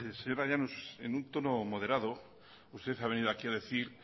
señora llanos en un tono moderado usted ha venido a decir